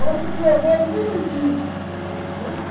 Ela comia bola direitinho, né?